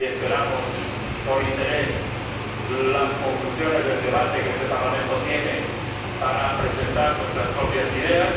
Esperamos con interés las conclusiones del debate de este Parlamento para presentar nuestras propias ideas.